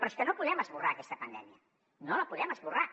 però és que no podem esborrar aquesta pandèmia no la podem esborrar